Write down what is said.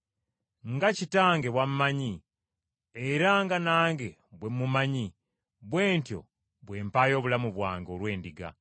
Nga Kitange bw’ammanyi, era nga nange bwe mmumanyi, bwe ntyo bwe mpaayo obulamu bwange olw’endiga.